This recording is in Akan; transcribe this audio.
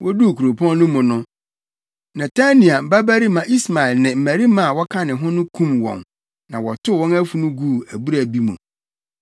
Woduu kuropɔn no mu no, Netania babarima Ismael ne mmarima a wɔka ne ho no kum wɔn na wɔtow wɔn afunu guu abura bi mu.